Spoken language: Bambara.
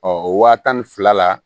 Ɔ o wa tan ni fila la